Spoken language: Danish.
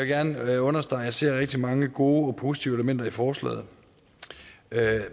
gerne understrege at jeg ser rigtig mange gode og positive elementer i forslaget